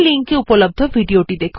এই লিঙ্ক এ উপলব্ধ ভিডিও টি দেখুন